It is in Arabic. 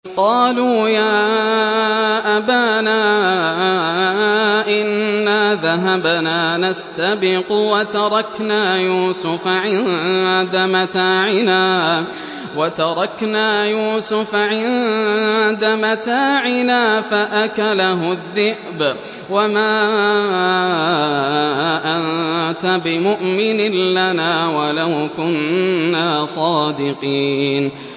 قَالُوا يَا أَبَانَا إِنَّا ذَهَبْنَا نَسْتَبِقُ وَتَرَكْنَا يُوسُفَ عِندَ مَتَاعِنَا فَأَكَلَهُ الذِّئْبُ ۖ وَمَا أَنتَ بِمُؤْمِنٍ لَّنَا وَلَوْ كُنَّا صَادِقِينَ